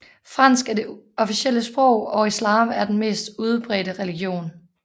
Fransk er det officielle sprog og islam er den mest udbredte religion